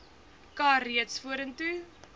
kar reeds vorentoe